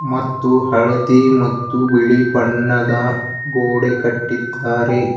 ಮತ್ತು ಹಳದಿ ಮತ್ತು ಬಿಳಿ ಬಣ್ಣದ ಗೋಡೆ ಕಟ್ಟಿದ್ದಾರೆ.